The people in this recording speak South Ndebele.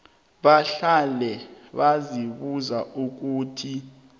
bahlale bazibuza ukuthi